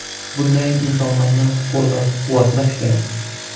Bunday insonlarni qo‘llab-quvvatlash kerak.